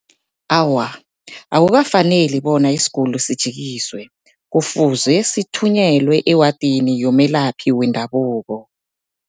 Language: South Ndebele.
Awa, akukafaneli bona isiguli sijikiswe, kufuze sithunyelwe ewadini yomelaphi wendabuko.